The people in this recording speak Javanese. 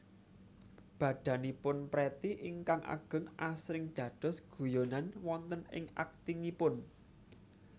Badanipun Pretty ingkang ageng asring dados guyonan wonten ing aktingipun